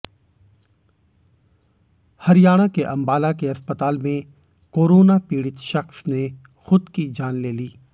हरियाणा के अंबाला के अस्पताल में कोरोना पीड़ित शख्स ने खुद की जान ले ली